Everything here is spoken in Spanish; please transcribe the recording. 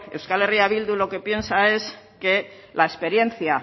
euskal herria bildu lo que piensa es que la experiencia